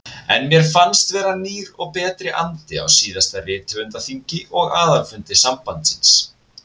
En mér fannst vera nýr og betri andi á síðasta rithöfundaþingi og aðalfundi sambandsins.